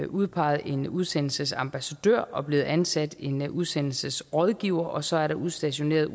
udpeget en udsendelsesambassadør og blevet ansat en udsendelsesrådgiver og så er der udstationeret